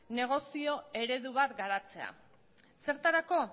negozio eredu bat garatzea zertarako